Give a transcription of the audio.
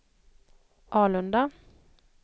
Alunda